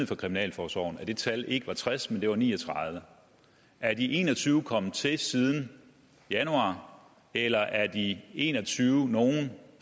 fra kriminalforsorgens side at det tal ikke var tres men at det var ni og tredive er de en og tyve kommet til siden januar eller er de en og tyve nogle